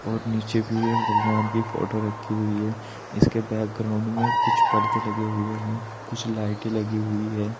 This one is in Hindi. और नीचे भी एक भगवान की फोटो रखी हुई है इसके बैकग्राउंड में कुछ पर्दो लगे हुए हैं कुछ लाइटें लगी हुई है।